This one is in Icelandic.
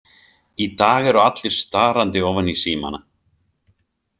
Í dag eru allir starandi ofan í símana.